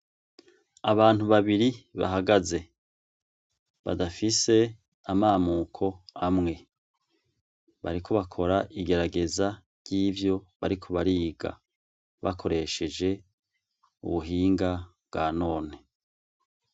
Abantu babiri bahagaze, badafise amamuko amwe ,bariko bakora igerageza ryivyo bariko bariga bakoresheje ubuhinga bwa none.